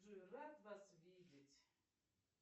джой рад вас видеть